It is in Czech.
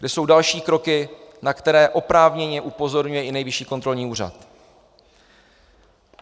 Kde jsou další kroky, na které oprávněně upozorňuje i Nejvyšší kontrolní úřad?